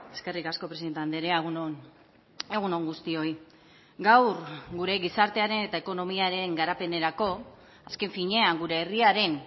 eskerrik asko presidente andrea egun on egun on guztioi gaur gure gizartearen eta ekonomiaren garapenerako azken finean gure herriaren